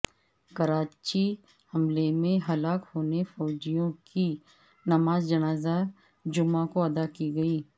کراچی حملے میں ہلاک ہونے فوجیوں کی نماز جنازہ جمعہ کو ادا کی گئی